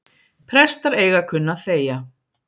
Prestar eiga að kunna að þegja